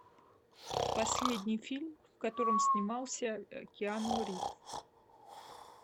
последний фильм в котором снимался киану ривз